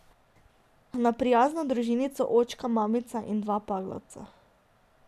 Na prijazno družinico, očka, mamica in dva paglavca.